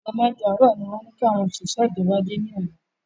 Ago mẹ́jọ àárò ni wọ́n ní kí àwọn òṣìṣẹ́ ìjọba dé ni ọ̀la